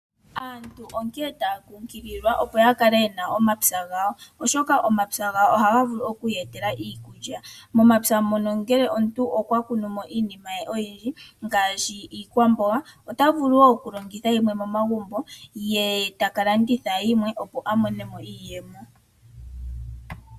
Aantu onkene taya kumagidhwa opo ya kale ye na omapya gawo, oshoka omapya otaga vulu okuya etela iikulya. Momapya mono ngele omuntu okwa kunu mo iinima ye oyindji ngaashi iikwamboga, ota vulu wo okulongitha yimwe momagumbo ye ta ka landitha yimwe, opo a mone mo iiyemo.